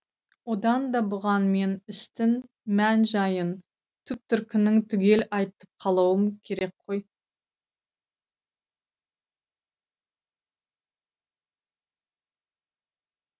одан да бұған мен істің мән жайын түп төркінін түгел айтып қалуым керек қой